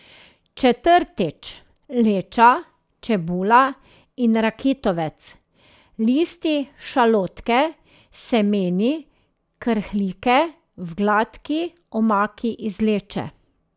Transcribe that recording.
Četrtič, leča, čebula in rakitovec, listi šalotke s semeni krhlike v gladki omaki iz leče.